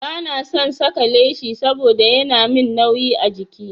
Ba na son saka leshi saboda yana min nauyi a jiki.